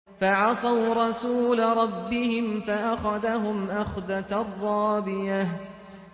فَعَصَوْا رَسُولَ رَبِّهِمْ فَأَخَذَهُمْ أَخْذَةً رَّابِيَةً